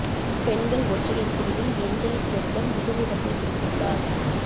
பெண்கள் ஒற்றையர் பிரிவில் ஏஞ்சலிக் கெர்பர் முதல் இடத்தைப் பிடித்துள்ளார்